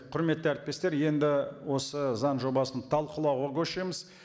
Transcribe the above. құрметті әріптестер енді осы заң жобасын талқылауға көшеміз